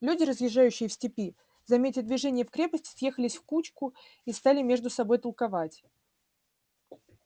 люди разъезжающие в степи заметя движение в крепости съехались в кучку и стали между собою толковать